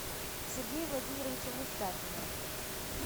сергея владимировича мустафина